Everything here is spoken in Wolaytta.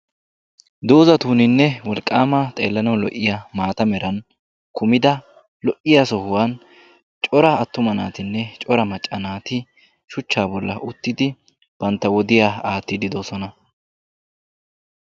Doozatuninne wolaqqaama xeellanawu lo'iyaa maata meran kumida lo"iyaa sohuwaan cora attuma naatinne cora macca naati shuchchaa bolli uttidi bantta wodiyaa aattiidi de'oosona.